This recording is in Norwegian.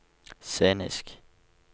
scenisk